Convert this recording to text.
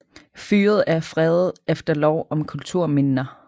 Fyret er fredet efter lov om kulturminner